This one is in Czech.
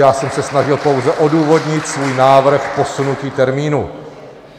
Já jsem se snažil pouze odůvodnit svůj návrh posunutí termínu.